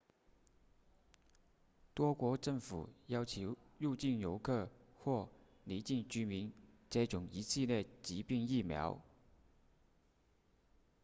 多国政府要求入境游客或离境居民接种一系列疾病疫苗